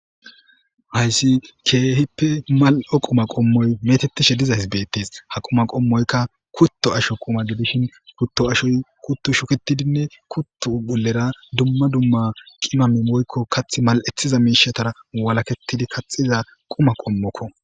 hayssi keehippe mal7o quma qommoy metettishe diza hisbettis ha quma qommoyka kutto asho quma gidishin kutto ashoy kuttu shukitidinne kuttu bolera dumma dumma qimami woykko kath mal7ethiza miishatara walaketidi kaxiza quma qommokko